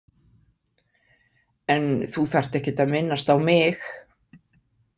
En þú þarft ekkert að minnast á mig.